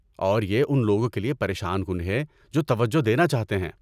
اور یہ ان لوگوں کے لیے پریشان کن ہے جو توجہ دینا چاہتے ہیں۔